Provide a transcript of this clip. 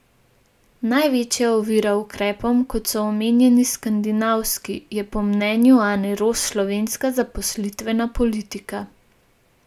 Največja ovira ukrepom, kot so omenjeni skandinavski, je po mnenju Ane Roš slovenska zaposlitvena politika.